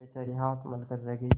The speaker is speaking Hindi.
बेचारी हाथ मल कर रह गयी